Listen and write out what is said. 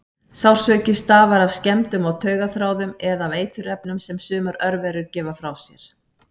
Sársauki stafar af skemmdum á taugaþráðum eða af eiturefnum sem sumar örverur gefa frá sér.